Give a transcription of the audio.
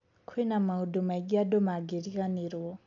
Kwĩna maũndũ maingĩ andũ mangĩriganĩro.